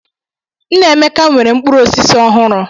Nnaemeka nwere mkpụrụ osisi ọhụrụ.